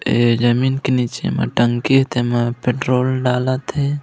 ए जमीन के नीचे म टंकी हे तेमा पेट्रोल डालत हे।